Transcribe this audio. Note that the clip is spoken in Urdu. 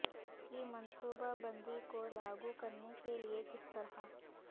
کی منصوبہ بندی کو لاگو کرنے کے لئے کس طرح